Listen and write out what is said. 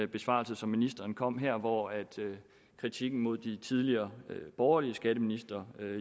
besvarelse som ministeren kom med her hvor kritikken mod de tidligere borgerlige skatteministre